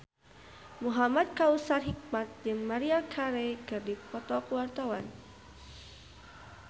Muhamad Kautsar Hikmat jeung Maria Carey keur dipoto ku wartawan